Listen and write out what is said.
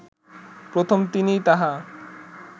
প্রথম তিনিই তাহা